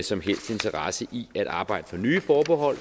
som helst interesse i at arbejde for nye forbehold